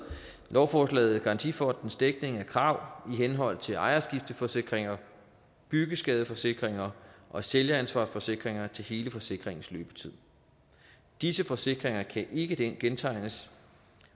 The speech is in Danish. lovforslaget garantifondens dækning af krav i henhold til ejerskifteforsikringer byggeskadeforsikringer og sælgeransvarsforsikringer til hele forsikringens løbetid disse forsikringer kan ikke gentegnes